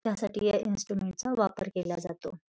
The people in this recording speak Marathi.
या साठी या इन्स्ट्रुमेंट चा वापर केला जातो.